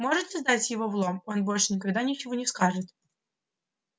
можете сдать его в лом он больше никогда ничего не скажет